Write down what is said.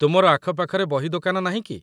ତୁମର ଆଖପାଖରେ ବହିଦୋକାନ ନାହିଁ କି?